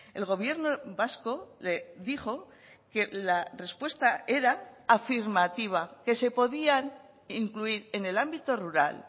el gobierno vasco le dijo que la respuesta era afirmativa que se podían incluir en el ámbito rural